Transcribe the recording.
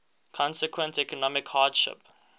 consequent economic hardship